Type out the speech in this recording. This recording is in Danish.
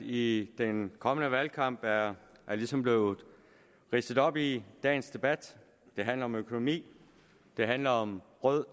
i den kommende valgkamp er ligesom blevet ridset op i dagens debat det handler om økonomi det handler om rød